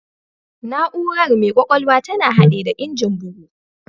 Na'ura mai ƙwƙwalwa tana haɗe da Injin bugu